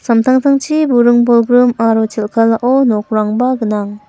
samtangtangchi buring-bolgrim aro chel·kalao nokrangba gnang.